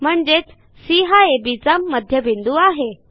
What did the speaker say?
म्हणजेच सी हा अब चा मध्यबिंदू आहे